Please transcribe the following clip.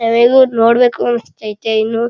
ನಾವ್ ಹೇಗೂ ನೋಡ್ಬೇಕು ಅಂಸ್ಥೈತಿ ಇನ್ನು.